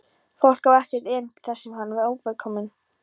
Fólk á ekkert erindi þar sem það er óvelkomið.